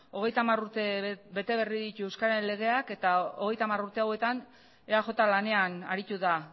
hogeita hamar urte bete berri ditu euskararen legeak eta hogeita hamar urte hauetan eaj lanean aritu da